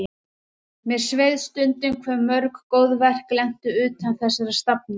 Mér sveið stundum hve mörg góð verk lentu utan þessara safna.